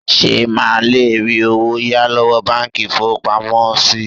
Ṣé máa lè rí owó yá lọ́wọ́ báńkì ìfowópamọ́ sí?